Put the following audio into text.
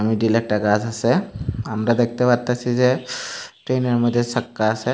মিডিলে একটা গাস আসে আমরা দেখতে পারতাসি যে ট্রেনের মইধ্যে সাক্কা আসে।